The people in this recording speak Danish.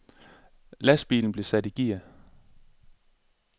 Lastbilen blev sat i gear.